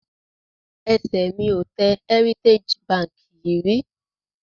Ẹsẹ̀ mi ò tẹ Heritage Bank yìí rí